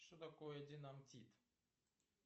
что такое динамтит